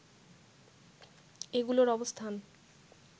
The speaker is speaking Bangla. এগুলোর অবস্থান